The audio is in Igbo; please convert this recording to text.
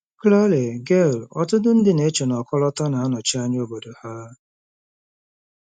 Claire: Gail, ọtụtụ ndị na-eche na ọkọlọtọ na-anọchi anya obodo ha.